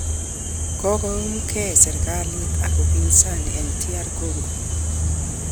Kokonomkei serkalit ak upinsani eng DR Congo